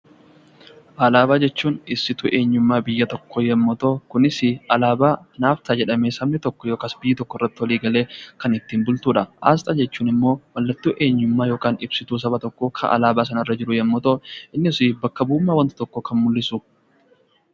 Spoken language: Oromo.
Alaabaa jechuun ibsituu eenyummaa biyya tokkoo yoo ta'u kunis alaabaa naaf ta'a jedhee biyyi tokko irratti walii gale kan ittiin bultudha. Asxaa jechuun immoo mallattoo eenyummaa yookiin ibsituu saba tokkoo kan alaabaa sanarra jiru bakka bu'ummaa saba sanaa kan fudhatedha.